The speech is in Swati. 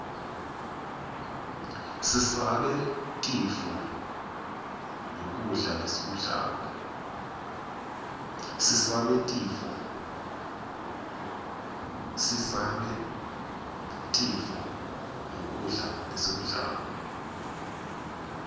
sisabe tifo nqgkudla lesikublako